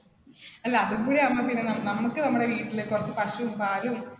അല്ല, അതും കൂടി ആകുമ്പോ പിന്നെ നമുക്ക് നമ്മുടെ വീട്ടിൽ കുറച്ച് പശുവും പാലും